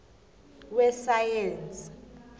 wesayensi